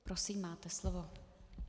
Prosím, máte slovo.